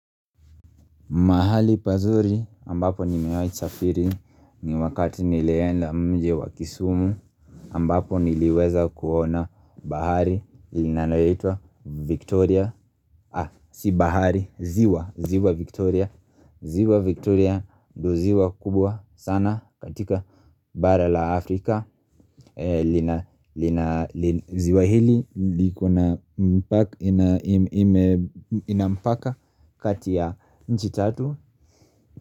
Mahali pazuri ambapo nimewahi safiri ni wakati nilienda mji wa kisumu ambapo niliweza kuona bahari ilinayoitwa Victoria, si bahari, ziwa, ziwa Victoria, ziwa Victoria dio ziwa kubwa sana katika bara la Afrika lina, lina, lina, ziwa hili liko na mpaka, ina, ina, ina mpaka kati ya, nchi tatu.